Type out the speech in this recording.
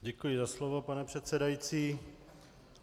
Děkuji za slovo, pane předsedající.